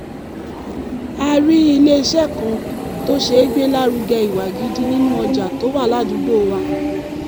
a rí ilé-iṣẹ́ kan tó ṣègbélárugẹ ìwà gidi nínú ọjà tó wà ládùúgbò wa